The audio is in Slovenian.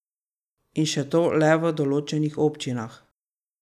In še to le v določenih občinah.